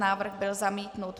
Návrh byl zamítnut.